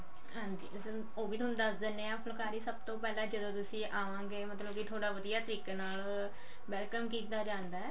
ਹਾਂਜੀ ਉਹ ਵੀ ਥੋਨੂੰ ਦੱਸ ਦਿੰਨੇ ਆ ਫੁਲਕਾਰੀ ਸਭ ਤੋਂ ਪਹਿਲਾਂ ਜਦੋ ਤੁਸੀਂ ਆਵਾਂਗੇ ਮਤਲਬ ਕੀ ਥੋਡਾ ਵਧੀਆ ਤਰੀਕੇ ਨਾਲ welcome ਕੀਤਾ ਜਾਂਦਾ